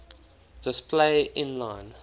display inline